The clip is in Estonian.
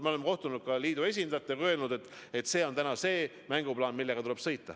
Ma olen kohtunud ka liidu esindajatega ja öelnud, et selline on tänane mänguplaan, mille järgi tuleb sõita.